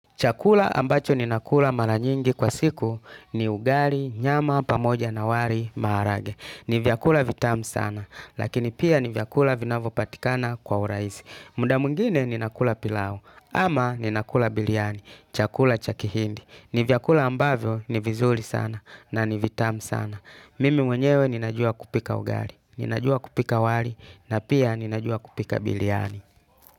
Chakula ambacho ninakula mara nyingi kwa siku ni ugali nyama pamoja na wali maharage. Ni vyakula vitamu sana, lakini pia ni vyakula vinavyo patikana kwa urahisi. Muda mwingine ninakula pilau ama ninakula biriani chakula cha kihindi. Ni vyakula ambavyo ni vizuri sana na ni vitamu sana. Mimi mwenyewe ninajua kupika ugali ninajua kupika wali na pia ninajua kupika biriani.